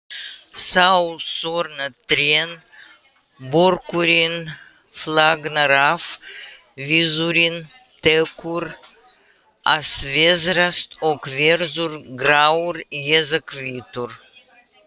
Þá þorna trén, börkurinn flagnar af, viðurinn tekur að veðrast og verður grár eða hvítur.